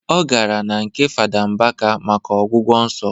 Ọ gara na nke fada Mbaka maka ọgwụgwọ nsọ